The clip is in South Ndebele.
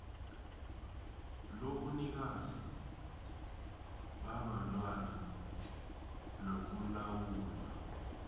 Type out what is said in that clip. lobunikazi babantwana nokulawulwa